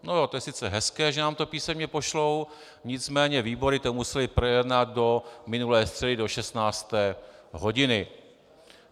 No jo, to je sice hezké, že nám to písemně pošlou, nicméně výbory to musely projednat do minulé středy do 16. hodiny.